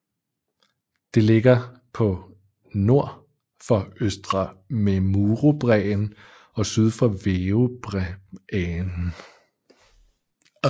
Det ligger på nord for Østre Memurubræen og syd for Veobreæen